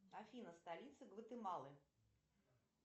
афина столица гватемалы